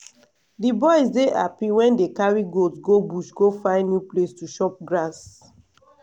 the boys dey happy wen dey carry goat go bush go find new place to chop grass